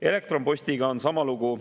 Elektronpostiga on sama lugu.